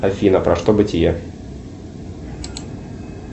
афина про что бытие